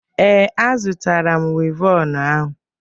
Ee, azụrụ m wivọnụ ahụ.